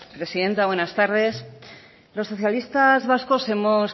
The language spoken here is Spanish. presidenta buenas tardes los socialista vascos hemos